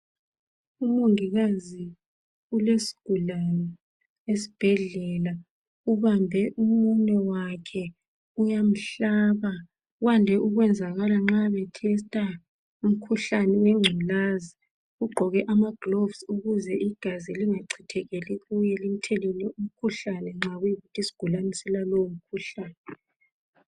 Umongikazi ulesigulane esibhedlela. Ubambe umunwe wakhe, uyamhlaba. Kwande ukwenzakala nxa bethesta umkhuhlane wengculaza. Ugqoke amagilovusi ukuze igazi lingachithekeli kuye limthelele umkhuhlane nxa kuyikuthi isgulane silalowo mkhuhlane.